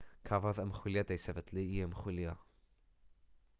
cafodd ymchwiliad ei sefydlu i ymchwilio